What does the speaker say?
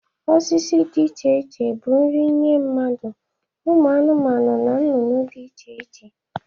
Osisi dị iche bụ nri nye mmadu, ụmụ anụmanụ na nnụnụ dị iche iche.